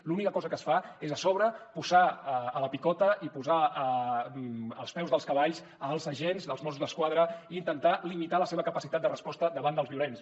l’única cosa que es fa és a sobre posar a la picota i posar als peus dels cavalls els agents dels mossos d’esquadra i intentar limitar la seva capacitat de resposta davant dels violents